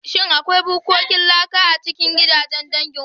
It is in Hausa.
Shin akwai bukkokin laka a cikin gidan dangin ku?